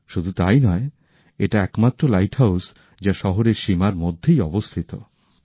শুধু তাই নয় এটা একমাত্র লাইট হাউস যা শহরের সীমার মধ্যেই অবস্হিত